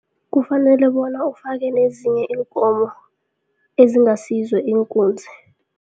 Kufanele bona ufake nezinye iinkomo ezingasizo iinkunzi.